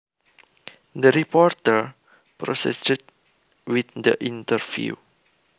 The reporter proceeded with the interview